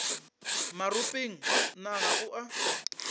maropeng na ga o a